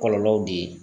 Kɔlɔlɔw de ye